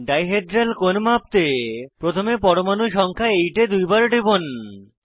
die hedral কোণ মাপতে প্রথমে পরমাণু সংখ্যা 8 এ দুইবার টিপুন